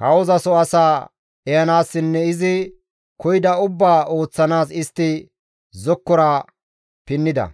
Kawozaso asaa ehanaassinne izi koyida ubbaa ooththanaas istti zokkora pinnida.